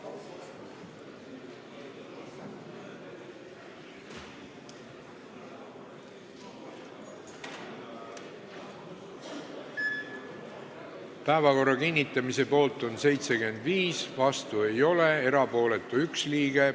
Hääletustulemused Päevakorra kinnitamise poolt on 75 Riigikogu liiget, vastuolijaid ei ole, erapooletuks jäi 1.